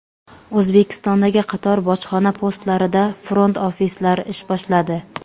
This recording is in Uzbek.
O‘zbekistondagi qator bojxona postlarida front-ofislar ish boshladi.